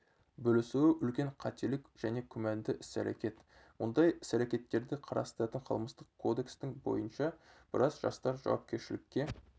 бөлісуі үлкен қателік және күмәнді іс-әрекет мұндай іс-әрекеттерді қарастыратын қылмыстық кодекстің бойынша біраз жастар жауапкершілікке